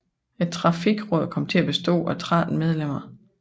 Trafikrådet kom til at bestå af 13 medlemmer